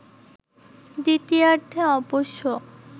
দ্বিতীয়ার্ধে অবশ্য